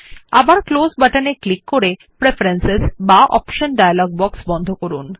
আবার ক্লোজ বাটনে ক্লিক করে প্রেফারেন্স বা Optionডায়ালগ বক্স বন্ধ করুন